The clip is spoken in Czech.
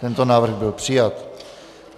Tento návrh byl přijat.